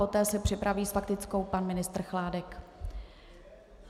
Poté se připraví s faktickou pan ministr Chládek.